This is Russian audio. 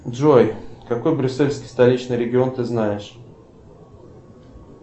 джой какой брюссельский столичный регион ты знаешь